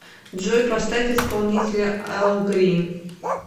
джой поставь исполнителя эл грин